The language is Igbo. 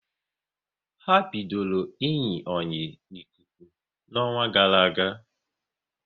Ha bidoro iyi oyi n'ikuku n'ọnwa gara aga